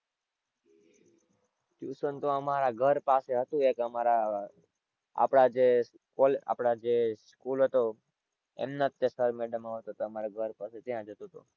Tuition તો અમારા ઘર પાસે હતું એક અમારા આપણાં જે કોલે આપણાં જે school હતો એમનાં જ અમારાં ઘર પાસે ત્યાં જ હતું તો.